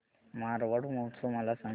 मारवाड महोत्सव मला सांग